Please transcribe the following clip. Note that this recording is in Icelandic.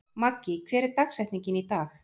Maggý, hver er dagsetningin í dag?